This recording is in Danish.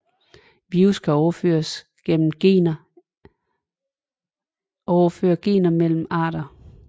Virus kan overføre gener mellem arter